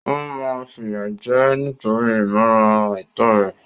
Wọ́n máa fìyà jẹ ẹ́ nítorí ìmúra àìtọ́ rẹ̀.